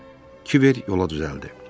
Kiver yola düzəldi.